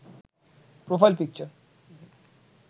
profile picture